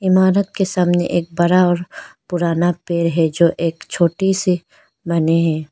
इमारत के सामने एक बरा और पुराना पेड़ है जो एक छोटी सी माने हैं।